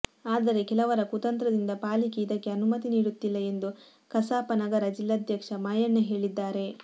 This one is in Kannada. ಆದರೆ ಕೆಲವರ ಕುತಂತ್ರದಿಂದ ಪಾಲಿಕೆ ಇದಕ್ಕೆ ಅನುಮತಿ ನೀಡುತ್ತಿಲ್ಲ ಎಂದು ಕಸಾಪ ನಗರ ಜಿಲ್ಲಾಧ್ಯಕ್ಷ ಮಾಯಣ್ಣ ಹೇಳಿದ್ದಾರೆ